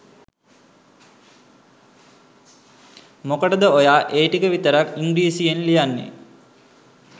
මොකටද ඔයා ඒ ටික විතරක් ඉංග්‍රීසියෙන් ලියන්නෙ?